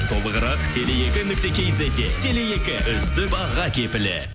толығырақ теле екі нүкте кизетте теле екі үздік баға кепілі